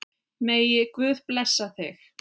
Megi Guð blessa þig.